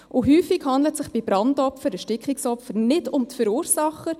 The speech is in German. Häufig handle es sich bei Brandopfern – Erstickungsopfern – nicht um die Verursacher.